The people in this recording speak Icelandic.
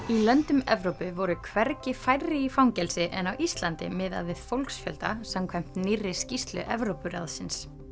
í löndum Evrópu voru hvergi færri í fangelsi en á Íslandi miðað við fólksfjölda samkvæmt nýrri skýrslu Evrópuráðsins